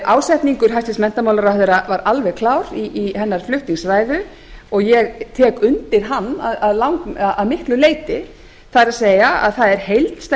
ásetningur hæstvirtur menntamálaráðherra var alveg klár í hennar flutningsræðu og ég tek undir hann að miklu leyti það er að það er heildstæð